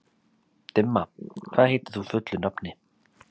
Dimma, hvað heitir þú fullu nafni?